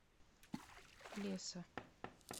плеса